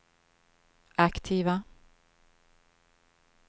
aktiva